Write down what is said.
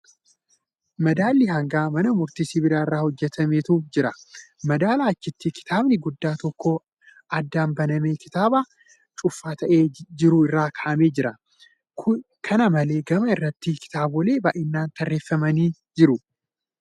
Madaalli hangaa mana murtii sibiila irraa hojjatametu jira. Madaalaa achitti kitaabni guddaan tokko addaan banamee kitaaba cufaa taa'ee jiru irra kaa'amee jira. Kana malee , gama irratti kitaabolee baay'een tarreeffamanii jiru.